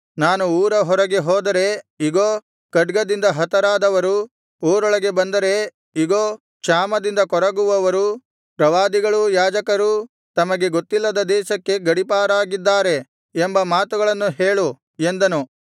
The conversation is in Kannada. ನಾನು ಊರ ಹೊರಗೆ ಹೋದರೆ ಇಗೋ ಖಡ್ಗದಿಂದ ಹತರಾದವರು ಊರೊಳಗೆ ಬಂದರೆ ಇಗೋ ಕ್ಷಾಮದಿಂದ ಕೊರಗುವವರು ಪ್ರವಾದಿಗಳೂ ಯಾಜಕರೂ ತಮಗೆ ಗೊತ್ತಿಲ್ಲದ ದೇಶಕ್ಕೆ ಗಡೀಪಾರಾಗಿದ್ದಾರೆ ಎಂಬ ಮಾತುಗಳನ್ನು ಹೇಳು ಎಂದನು